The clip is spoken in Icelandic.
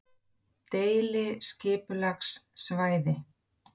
Hinir þættirnir eru mittismál og áhættuþættir sjúkdóma og kvilla sem tengjast offitu.